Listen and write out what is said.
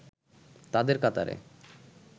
তাদের কাতারে